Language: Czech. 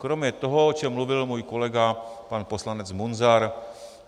Kromě toho, o čem mluvil můj kolega pan poslanec Munzar.